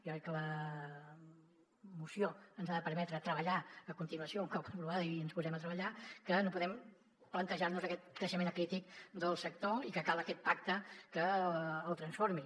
jo crec que la moció ens ha de permetre treballar a continuació un cop aprovada i ens posem a treballar que no podem plantejar nos aquest creixement acrític del sector i que cal aquest pacte que el transformi